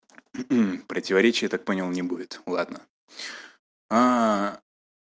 противоречия так понял не будет ладно